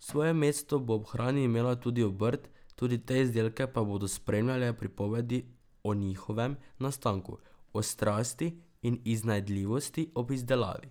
Svoje mesto bo ob hrani imela tudi obrt, tudi te izdelke pa bodo spremljale pripovedi o njihovem nastanku, o strasti in iznajdljivosti ob izdelavi.